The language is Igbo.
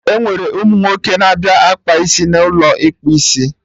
Enwere ụmụ nwoke na-abịa akpa isi n'ụlọ ịkpụ isi